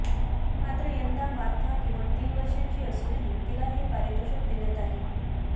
मात्र यंदा मार्था केवळ तीन वर्षांची असूनही तिला हे पारितोषिक देण्यात आले